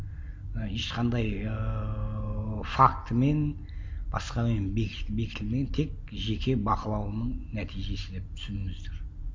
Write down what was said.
і ешқандай ыыы фактімен басқамен бекітілмеген тек жеке бақылауымның нәтижесі деп түсініңіздер